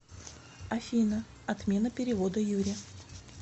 афина отмена перевода юре